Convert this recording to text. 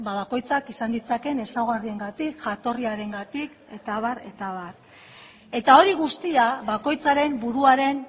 bakoitzak izan ditzaken ezaugarriengatik jatorriarengatik eta abar eta abar eta hori guztia bakoitzaren buruaren